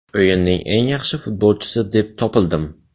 O‘yinning eng yaxshi futbolchisi deb topildim?